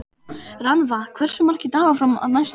Rannva, hversu margir dagar fram að næsta fríi?